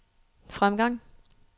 fremgang